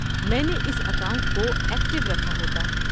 میں نے اس اکاؤنٹ کو ایکٹو رکھا ہوتا۔